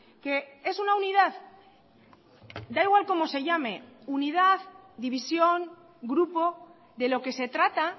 que es una unidad da igual cómo se llame unidad división grupo de lo que se trata